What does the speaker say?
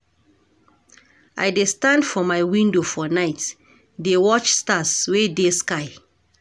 I dey stand for my window for night, dey watch stars wey dey sky.